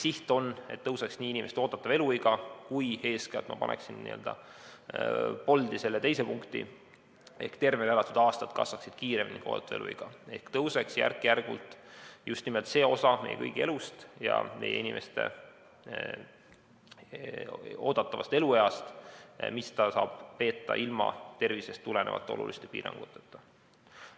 Siht on, et tõuseks inimeste oodatav eluiga, aga eeskätt ma paneksin n‑ö bold'i selle teise punkti ehk et tervena elatud aastate arv kasvaks kiiremini kui oodatav eluiga, järk-järgult pikeneks just nimelt see osa meie kõigi elust ja oodatavast elueast, mille inimene saab veeta ilma tervisest tulenevate oluliste piiranguteta.